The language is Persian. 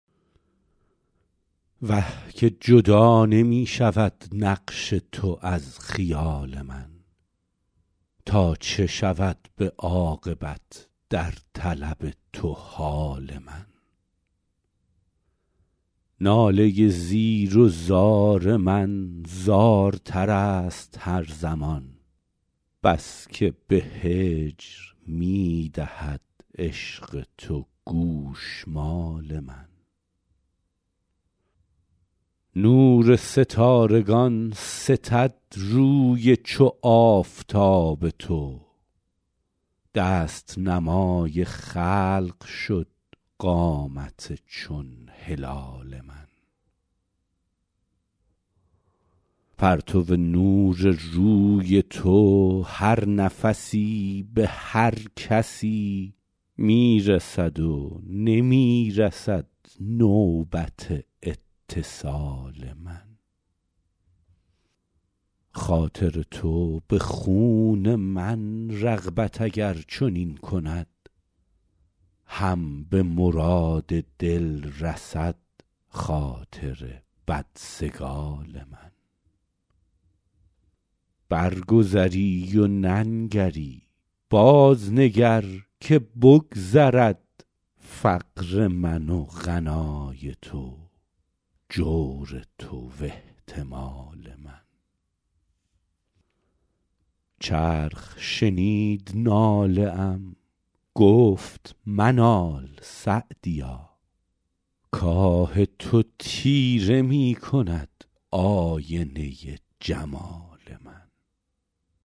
وه که جدا نمی شود نقش تو از خیال من تا چه شود به عاقبت در طلب تو حال من ناله زیر و زار من زارتر است هر زمان بس که به هجر می دهد عشق تو گوشمال من نور ستارگان ستد روی چو آفتاب تو دست نمای خلق شد قامت چون هلال من پرتو نور روی تو هر نفسی به هر کسی می رسد و نمی رسد نوبت اتصال من خاطر تو به خون من رغبت اگر چنین کند هم به مراد دل رسد خاطر بدسگال من برگذری و ننگری بازنگر که بگذرد فقر من و غنای تو جور تو و احتمال من چرخ شنید ناله ام گفت منال سعدیا کآه تو تیره می کند آینه جمال من